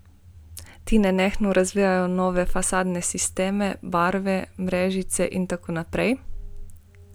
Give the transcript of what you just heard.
Ti nenehno razvijajo nove fasadne sisteme, barve, mrežice in tako naprej.